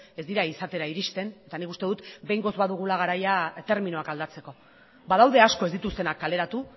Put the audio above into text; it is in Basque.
ez dira izatera iristen eta nik uste dut behingoz badugula garaia terminoak aldatzeko badaude asko ez dituztenak kaleratu